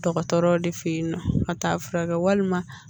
Dɔgɔtɔrɔw de fe yen nɔ ka t'a furakɛ walima